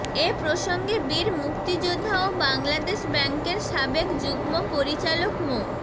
এ প্রসঙ্গে বীর মুক্তিযোদ্ধা ও বাংলাদেশ ব্যাংকের সাবেক যুগ্ম পরিচালক মো